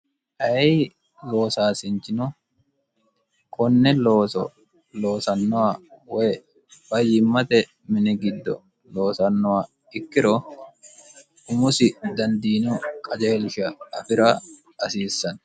ayi loosaasinchino konne looso loosannohwa woy fayyimmate mini giddo loosannoha ikkiro umusi dandiino qajeelisha afi'ra hasiissanno